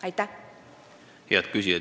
Head küsijad!